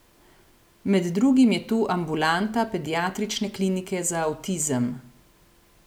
Med drugim je tu ambulanta pediatrične klinike za avtizem.